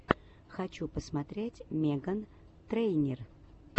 хочу посмотреть меган трейнер